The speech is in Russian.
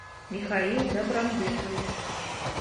михаил добронбекович